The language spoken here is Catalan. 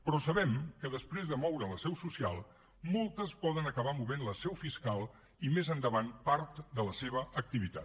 però sabem que després de moure la seu social moltes poden acabar movent la seu fiscal i més endavant part de la seva activitat